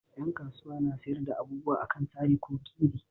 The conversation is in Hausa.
Dan kasuwa na sayar da abubuwa a kan sari ko kiri